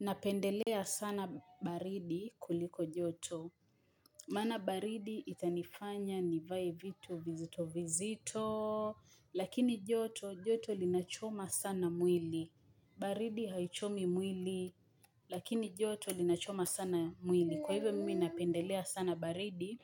Napendelea sana baridi kuliko joto. Maana baridi itanifanya nivae vitu vizito vizito. Lakini joto joto linachoma sana mwili. Baridi haichomi mwili. Lakini joto linachoma sana mwili. Kwa hivyo mimi napendelea sana baridi